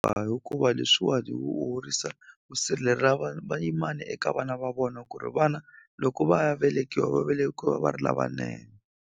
hikuva leswiwani wu horisa vayimani eka vana va vona ku ri vana loko va ya velekiwa va velekiwa va ri lavanene.